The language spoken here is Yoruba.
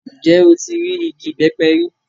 Njẹ o ti rii igi ibẹpẹ ri?